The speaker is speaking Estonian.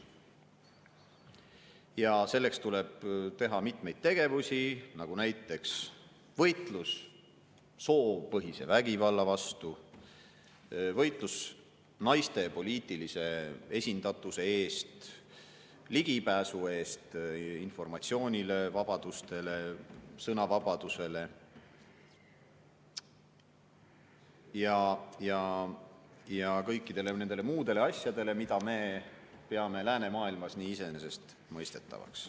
Ja selleks tuleb teha mitmeid tegevusi, näiteks võitlus soopõhise vägivalla vastu, võitlus naiste poliitilise esindatuse eest, ligipääsu eest informatsioonile, vabadustele, sõnavabadusele ja kõikidele nendele muudele asjadele, mida me peame läänemaailmas nii iseenesestmõistetavaks.